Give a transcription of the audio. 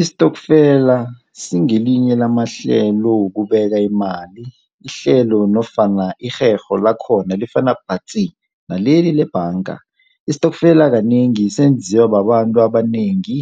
Istokfela singelinye lamahlelo wokubeka imali, ihlelo nofana irherho lakhona lifana patsi. Naleli lebhanga. Istokfela kanengi senziwa babantu abanengi.